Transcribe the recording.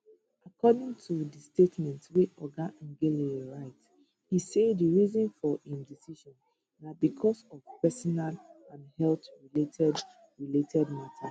according to di statement wey oga ngelale write e say di reason for im decision na becos of personal and health related related mata